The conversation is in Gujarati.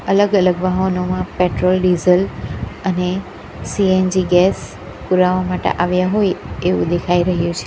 અલગ અલગ વાહનોમાં પેટ્રોલ ડીઝલ અને સી_એન_જી ગેસ પુરાવા માટે આવ્યા હોય એવું દેખાઈ રહ્યું છે.